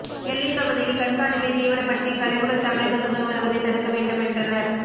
எல்லைப் பகுதியில் கண்காணிப்பை தீவிரப்படுத்தி கழிவுகள் தமிழகத்துக்குள் வருவதை தடுக்க வேண்டும் என்றனர்